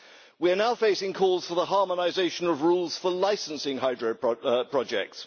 We are now facing calls for the harmonisation of rules for licensing hydropower projects.